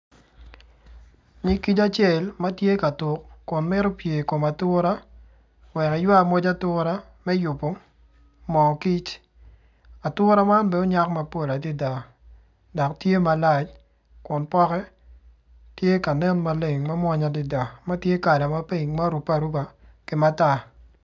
Winyo acel ma tye ka tuk ma mito pye i kom ature wek eywak moc ature mo kic ature man bene onyak mapol atar dok tye malac kun poke tye ka nen mamwonya maleng adada.